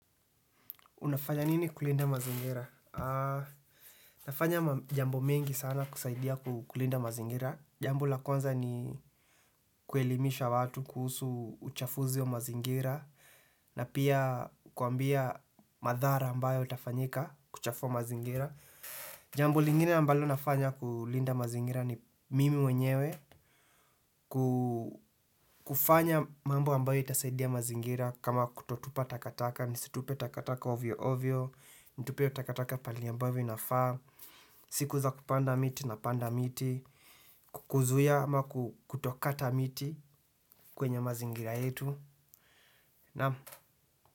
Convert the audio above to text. Unafanya nini kulinda mazingira? Nafanya jambo mengi sana kusaidia kulinda mazingira. Jambu la kwanza ni kuelimisha watu kuhusu uchafuzi wa mazingira. Na pia kuambia madhara ambayo yatafanyika kuchafua mazingira. Jambo lingine ambayo nafanya kulinda mazingira ni mimi mwenyewe ku kufanya mambo ambayo itasaidia mazingira kama kutotupa takataka, nisitupe takataka ovyo ovyo. Nitupe takataka pahali ambavyo inafaa. Siku za kupanda miti napanda miti. Kukuzuia ama kutokata miti kwenye mazingira yetu, naam.